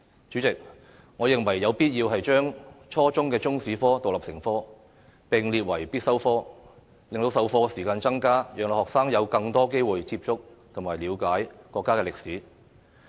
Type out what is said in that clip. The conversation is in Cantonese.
主席，我認為有必要將初中中史科獨立成科，並列為必修科，增加授課時間，讓學生有更多機會接觸及了解國家歷史。